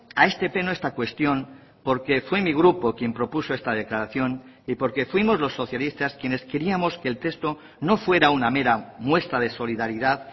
a este pleno esta cuestión porque fue mi grupo quien propuso esta declaración y porque fuimos los socialistas quienes queríamos que el texto no fuera una mera muestra de solidaridad